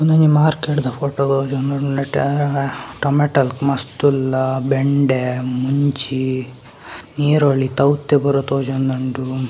‌ ಉಂದೊಂಜಿ ಮಾರ್ಕೆಟ್‌ದ ಫೋಟೋ ನೆಟ್ಟೆ ಟೊಮಾಟೊ ಮಸ್ತ್‌ ಉಲ್ಲ ಬೆಂಡೆ ಮುಂಚಿ ನೀರುಳ್ಳಿ ತೌತೆ ಪೂರ ತೋಜೋಂದುಂಡು.